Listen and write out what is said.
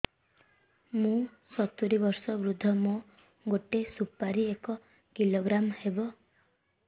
ମୁଁ ସତୂରୀ ବର୍ଷ ବୃଦ୍ଧ ମୋ ଗୋଟେ ସୁପାରି ଏକ କିଲୋଗ୍ରାମ ହେବ